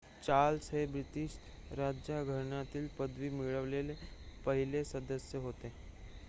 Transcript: Charles हे British राज्यघराण्यातील पदवी मिळवलेले पहिले सदस्य होत